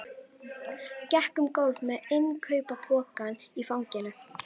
Gekk um gólf með innkaupapokann í fanginu.